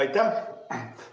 Aitäh!